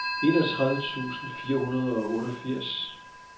enogtredive tusind fire hundrede og otteogfirs